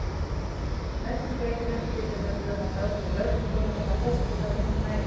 Meðgöngueitrunin getur nefnilega haft áhrif á legkökuna þannig að fóstrið fær minni næringu.